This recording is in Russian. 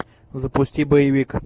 запусти боевик